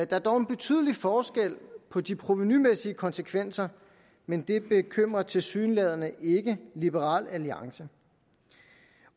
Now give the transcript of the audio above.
der er dog en betydelig forskel på de provenumæssige konsekvenser men det bekymrer tilsyneladende ikke liberal alliance